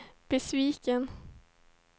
besviken